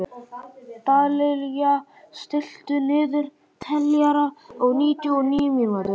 Dallilja, stilltu niðurteljara á níutíu og níu mínútur.